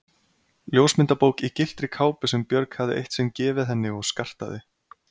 Ljósmyndabók í gylltri kápu sem Björg hafði eitt sinn gefið henni og skartaði